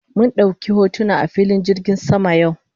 Mun dauki hotuna a filin jirgin sama yau